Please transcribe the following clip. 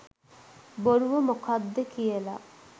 බොරුව මොකද්ද කියල.